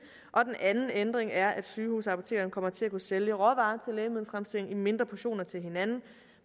anden ændring er at sygehusapotekerne kommer til at kunne sælge råvarer til lægemiddelfremstilling i mindre portioner til hinanden